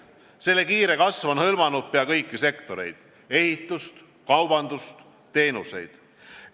Selle kiire kasv on hõlmanud peaaegu kõiki sektoreid: ehitust, kaubandust, teenuseid.